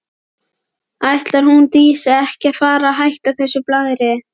Ætlar hún Dísa ekki að fara að hætta þessu blaðri?